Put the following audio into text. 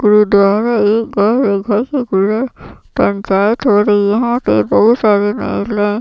पंचायत हो रही है। वे बहोत सारे--